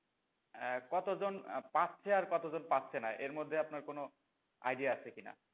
আহ কতজন পাচ্ছে আর কতজন পাচ্ছে না? এর মধ্যে আপনার কোনো idea আছে কি না?